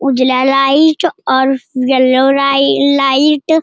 उजला लाइट और येल्लो लाइ लाइट --